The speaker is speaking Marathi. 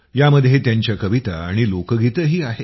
यामध्ये त्यांच्या कविता आणि लोकगीतंही आहेत